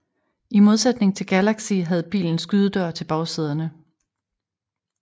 I modsætning til Galaxy havde bilen skydedør til bagsæderne